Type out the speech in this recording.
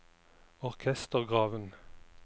orkestergraven